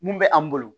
Mun bɛ an bolo